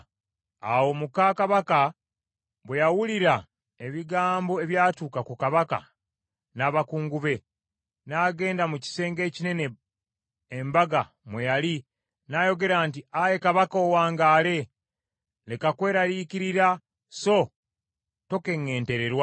Awo muka kabaka bwe yawulira ebigambo ebyatuuka ku kabaka n’abakungu be, n’agenda mu kisenge ekinene embaga mwe yali n’ayogera nti, “Ayi kabaka, owangaale! Leka kweraliikirira, so tokeŋŋentererwa.